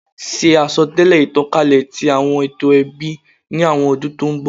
Ṣe asọtẹlẹ itankalẹ ti awọn eto ẹbi ni awọn ọdun to n bọ